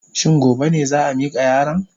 Shin gobe ne za a mika yaron?